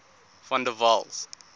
van der waals